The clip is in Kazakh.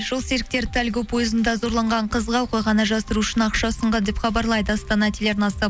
жол серіктері тальго пойызында зорланған қызға оқиғаны жасыру үшін ақша ұсынған деп хабарлайды астана телеарнасы